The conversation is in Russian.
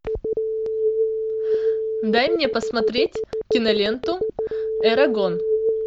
дай мне посмотреть киноленту эрагон